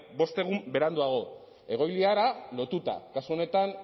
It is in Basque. bost egun beranduago egoiliarra lotuta kasu honetan